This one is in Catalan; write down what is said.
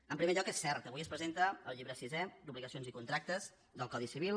en primer lloc és cert avui es presenta el llibre sisè d’obligacions i contractes del codi civil